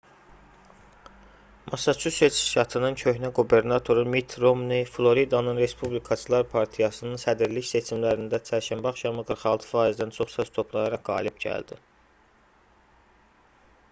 massaçusets ştatının köhnə qubernatoru mitt romney floridanın respublikaçılar partiyasının sədrlik seçimlərində çərşənbə axşamı 46%-dən çox səs toplayaraq qalib gəldi